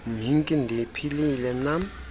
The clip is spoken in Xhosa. mhinki ndiphilile nam